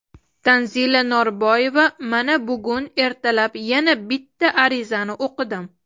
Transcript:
Tanzila Norboyeva: Mana bugun ertalab yana bitta arizani o‘qidim.